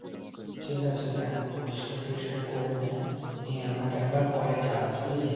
ঠিক আছে দেখ, পরিষ্কার টোরিস্কার করে না, নিয়ে আমাকে একবার পরে জানাস বুজলি ?